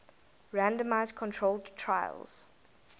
randomized controlled trials